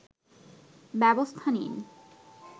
ব্যবস্থা নিন